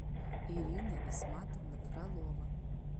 ирина исматовна фролова